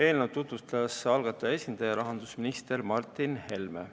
Eelnõu tutvustas algataja esindaja, rahandusminister Martin Helme.